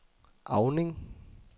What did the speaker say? Auning